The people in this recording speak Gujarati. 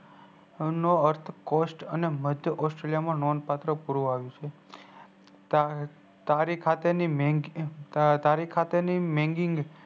sun નો અર્થ cost અને મઘ્ય cost માં નોન પાત્ર પુર આવ્યું છે તારીક સાથે ની મૈગિક